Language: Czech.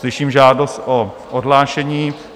Slyším žádost o odhlášení.